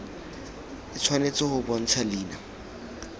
e tshwanetse go bontsha leina